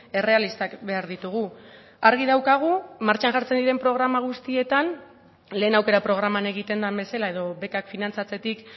errealistak behar ditugu argi daukagu martxan jartzen diren programa guztietan lehen aukera programan egiten den bezala edo bekak finantzatzetik